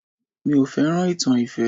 Mi ò fẹ́ràn ìtàn ìfẹ́